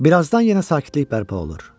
Bir azdan yenə sakitlik bərpa olur.